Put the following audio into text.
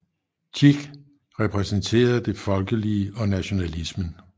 Tieck repræsenterede det folkelige og nationalismen